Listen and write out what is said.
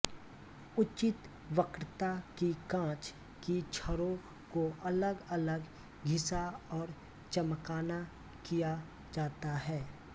उचित वक्रता की काँच की छड़ों को अलग अलग घिसा और चमकाना किया जाता है